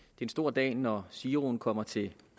en stor dag når giroen kommer til